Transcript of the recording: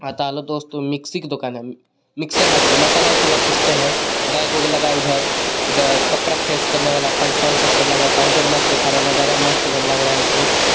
हाँ तो हेलो दोस्तों मिक्सी की दूकान हे मिक्सर मशीन मसाला वसाल पीसते हे बेग वॉग लगा हे उधर इधर कपड़ा फ्रेश करने वाला पंखा वंखा सब लगा हे काउंटर मस्त दिखा रहा हे नजारा मस्त एकदम लग रहा हे हमको.